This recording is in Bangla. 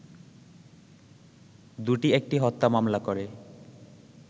দুটি একটি হত্যা মামলা করে